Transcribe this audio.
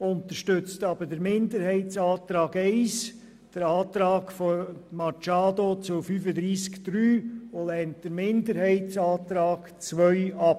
Auch unterstützt sie den Minderheitsantrag 1 sowie den Antrag der Grünen zu Artikel 35 Absatz 3 und lehnt den Minderheitsantrag 2I ab.